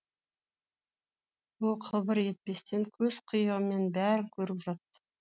ол қыбыр етпестен көз қиығымен бәрін көріп жатты